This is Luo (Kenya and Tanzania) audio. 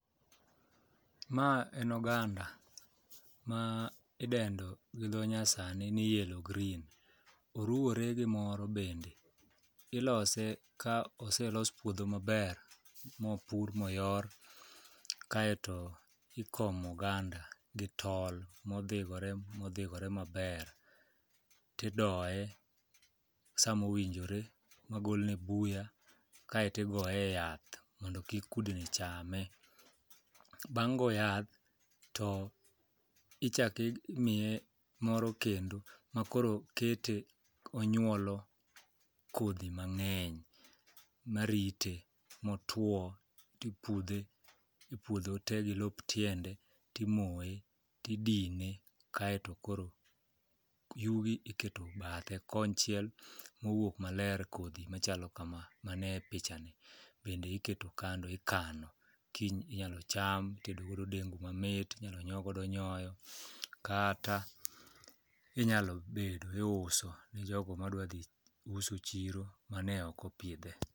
Ma en oganda ma idendo gi dho nyasani ni yellow green. Oruwore gi moro bende. Ilose ka oselos puodho maber mopur moyor kaeto ikomo oganda gi tol modhigore modhigore maber, tidoye samowinjore magolne buya kaeto igoye yath mondo kik kudni chame. Bang' go yath to ichaki imiye moro kendo makoro kete onyuolo kodhi mang'eny marite motwo tipudhe e ipuodho te gi lop tiende timoye tidine kaeto koro yugi iketo bathe konchiel, mowuok maler kodhi machalo kama mane pichani bende iketo kando ikano, kiny inyalo cham, itedogodo dengu mamit, inyalo nyuo godo nyoyo kata inyalo bedo iuso ne jogo madwadhi uso chiro mane ok opidhe.